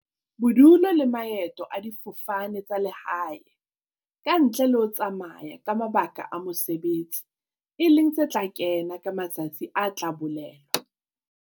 Bodulo le maeto a difofane tsa lehae, ka ntle le ho tsamaya ka mabaka a mo-sebetsi, e leng tse tla kena ka matsatsi a tla bolelwa.